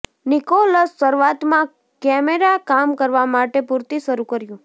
Nicholas શરૂઆતમાં camera કામ કરવા માટે પૂરતી શરૂ કર્યું